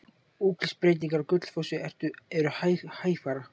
Útlitsbreytingar á Gullfossi eru hægfara.